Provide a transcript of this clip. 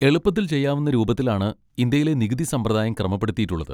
എളുപ്പത്തിൽ ചെയ്യാവുന്ന രൂപത്തിലാണ് ഇന്ത്യയിലെ നികുതി സമ്പ്രദായം ക്രമപ്പെടുത്തിയിട്ടുള്ളത്.